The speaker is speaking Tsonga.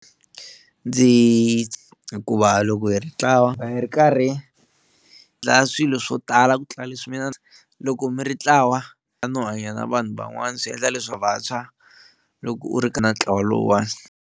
Ndzi hikuva loko hi ri ntlawa va hi ri karhi dlaya swilo swo tala ku tlula loko mi ri ntlawa no hanya na vanhu van'wana swi endla leswaku vantshwa loko u ri na ntlawa lowuwani.